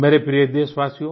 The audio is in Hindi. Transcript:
मेरे प्रिय देशवासियो